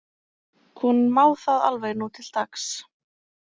Konan má það alveg nú til dags.